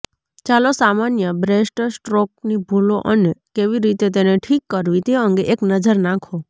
ચાલો સામાન્ય બ્રેસ્ટસ્ટ્રોકની ભૂલો અને કેવી રીતે તેને ઠીક કરવી તે અંગે એક નજર નાખો